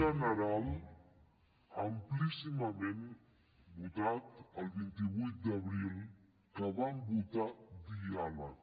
general amplíssimament votat el vint vuit d’abril que vam votar diàleg